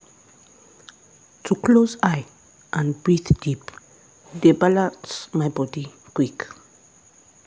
to close eye and breathe deep dey balance my body quick.